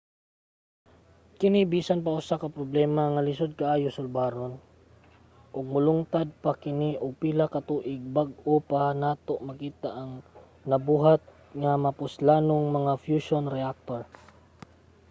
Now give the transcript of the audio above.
kini bisan pa usa ka problema nga lisod kaayo sulbaron ug molungtad pa kini og pila ka tuig bag-o pa nato makita ang nabuhat nga mapuslanong mga fushion reactor